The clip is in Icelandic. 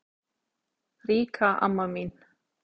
Ríka amma mín.